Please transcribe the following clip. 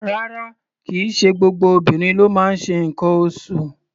Rárá, kì í ṣe gbogbo obìnrin ló máa ń ṣe nǹkan oṣụ̀.